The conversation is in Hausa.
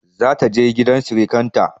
Za ta je gidan sirikanta.